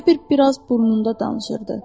Elə bil, biraz burnunda danışırdı.